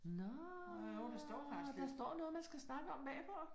Nåh, der står noget man skal snakke om bagpå